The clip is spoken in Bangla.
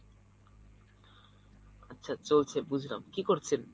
আচ্ছা চলছে বুঝলাম কি করছেন?